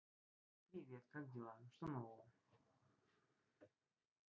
привет как дела что нового